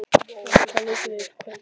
Rolf, hvaða leikir eru í kvöld?